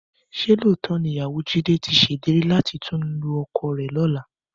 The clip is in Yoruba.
Ṣé lóòótọ́ ni ìyàwó Jídé tí ṣèlérí láti tún lu ọkọ rẹ lọ́la?